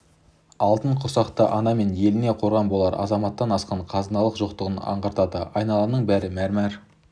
алтын құрсақты ана мен еліне қорған болар азаматтан асқан қазынаның жоқтығын аңғартады айналаның бәрі мәрмәр